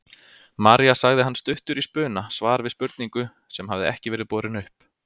María sagði hann stuttur í spuna, svar við spurningu sem hafði ekki verið borin upp.